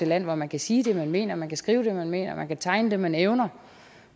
land hvor man kan sige det man mener og man kan skrive det man mener og man kan tegne det man evner